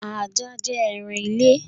Ajá jẹ́ ẹran ile